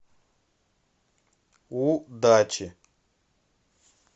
у дачи